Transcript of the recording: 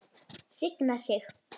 Signa sig?